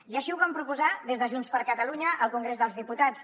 i així ho vam proposar des de junts per catalunya al congrés dels diputats